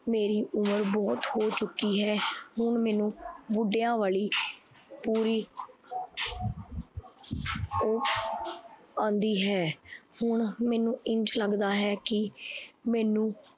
ਮੇਰੀ ਉਮਰ ਬਹੁਤ ਹੋ ਚੁੱਕੀ ਹੈ। ਹੁਣ ਮੈਨੂੰ ਮੁੰਡਿਆ ਵਾਲੀ ਪੂਰੀ ਓਹ ਆਂਦੀ ਹੈ। ਹੁਣ ਮੈਨੂੰ ਇੰਝ ਲੱਗਦਾ ਹੈ। ਕੀ ਮੈਨੂੰ